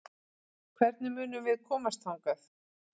Hvernig munum við komast þangað?